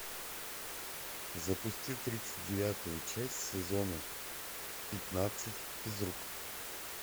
запусти тридцать девятую часть сезона пятнадцать физрук